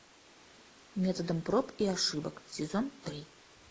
методом проб и ошибок сезон три